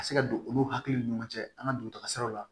Ka se ka don olu hakiliw ni ɲɔgɔn cɛ an ka dugutaga siraw la